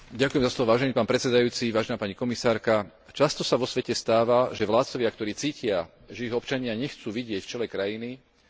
Často sa vo svete stáva, že vládcovia, ktorí cítia, že ich občania nechcú vidieť v čele krajiny, hľadajú rozličné možnosti, ako sa udržať pri moci.